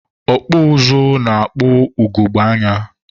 ọkpụ ụzụ na-ekpu ugogbe anya.